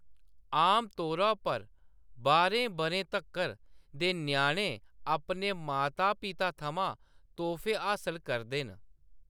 आमतौरा पर, बाह्रें बʼरें तक्कर दे ञ्याणे अपने माता- पिता थमां तोह्‌‌फे हासल करदे न।